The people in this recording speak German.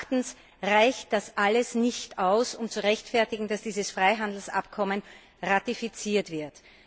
Meines Erachtens reicht das alles nicht aus, um zu rechtfertigen, dass dieses Freihandelsabkommen ratifiziert wird.